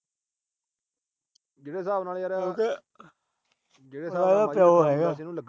ਜਿਹੜੇ ਸਾਬ ਨਾਲ ਯਾਰ